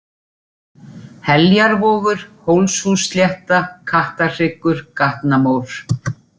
Heljarvogur, Hólshússlétta, Kattarhryggur, Gatnamór